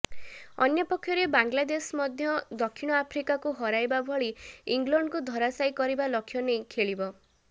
ଅନ୍ୟପକ୍ଷରେ ବାଂଲାଦେଶ ମଧ୍ୟ ଦକ୍ଷିଣ ଆଫ୍ରିକାକୁ ହରାଇବା ଭଳି ଇଂଲଣ୍ଡକୁ ଧରାସାୟୀ କରିବା ଲକ୍ଷ ନେଇ ଖେଳିବ